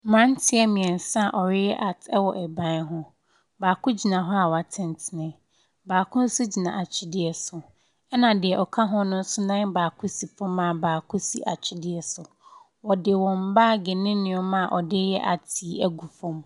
Mmaranteɛ mmiɛnsa ɔyɛ art ɛwɔ ɛban hɔn baako gyina hɔ a wa tenteni baako nso gyina atwedeɛ so ɛna deɛ ɔka wɔn nso nan baako si fom a baako si atwedeɛ so ɔdi wɔn bab ne nneɛma ɔdi yɛ art ɛgu fom.